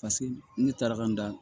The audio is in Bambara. Paseke ne taar'an da